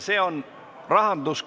See on rahandus...